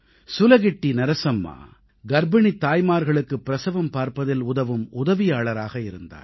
சுலகிட்டி நரசம்மா கர்ப்பிணித் தாய்மார்களுக்குப் பிரசவம் பார்ப்பதில் உதவும் உதவியாளராக இருந்தார்